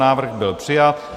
Návrh byl přijat.